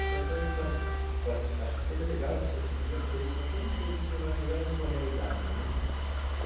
Até serve para para... Acho que seria legal se esse dia servisse para todo mundo observar melhor a sua realidade, né?